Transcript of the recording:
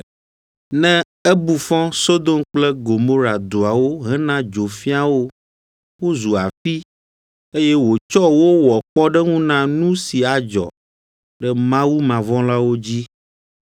ne ebu fɔ Sodom kple Gomora duawo hena dzo fia wo, wozu afi, eye wòtsɔ wo wɔ kpɔɖeŋu na nu si adzɔ ɖe mawumavɔ̃lawo dzi;